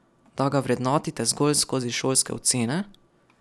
Da ga vrednotite zgolj skozi šolske ocene?